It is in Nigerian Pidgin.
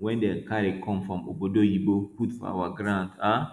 wey dem carry come from obodo oyinbo put for our grund um